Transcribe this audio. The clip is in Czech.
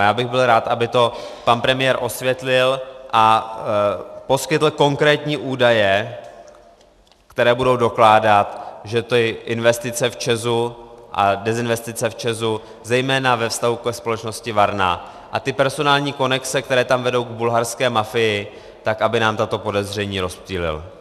A já bych byl rád, aby to pan premiér osvětlil a poskytl konkrétní údaje, které budou dokládat, že ty investice v ČEZu a dezinvestice v ČEZu zejména ve vztahu ke společnosti Varna a ty personální konexe, které tam vedou k bulharské mafii, tak aby nám tato podezření rozptýlil.